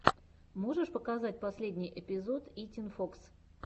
можешь показать последний эпизод итин фокс